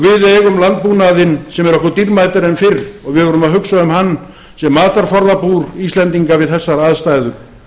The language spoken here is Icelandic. við eigum landbúnaðinn sem er okkur dýrmætari en fyrr og við verðum að hugsa um hann sem matarforðabúr íslendinga við þessar aðstæður